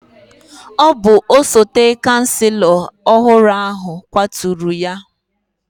Ọ bụ osote chancelo ọhụrụ ahụ kwaturu ya.